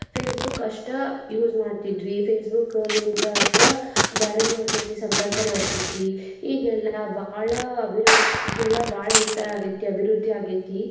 Facebook ಅಷ್ಟ use ಮಾಡ್ತಿದ್ವಿ Facebook, LinkedIn ಅಷ್ಟ ಬ್ಯಾರೆದವರ್ ಜೊತೆ ಸಂಪರ್ಕ ಮಾಡ್ತಿದ್ವಿ ಈಗ ಎಲ್ಲಾ ಬಹಳ ಅಭಿವೃದ್ದಿ ಈಗೆಲ್ಲಾ ಬಾಳ ವಿಸ್ತಾರ ಆಗೇತಿ ಅಭಿವೃದ್ದಿ ಆಗೇತಿ